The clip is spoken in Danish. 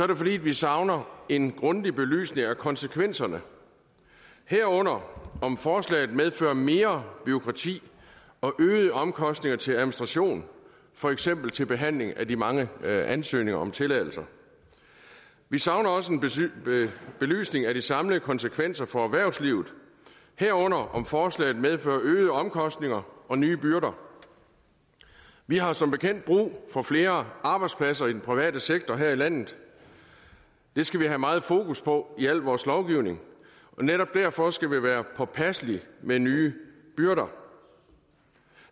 det fordi vi savner en grundig belysning af konsekvenserne herunder om forslaget medfører mere bureaukrati og øgede omkostninger til administration for eksempel til behandling af de mange ansøgninger om tilladelser vi savner også en belysning af de samlede konsekvenser for erhvervslivet herunder om forslaget medfører øgede omkostninger og nye byrder vi har som bekendt brug for flere arbejdspladser i den private sektor her i landet det skal vi have meget fokus på i al vores lovgivning og netop derfor skal vi være påpasselige med nye byrder